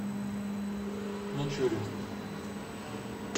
мичуринском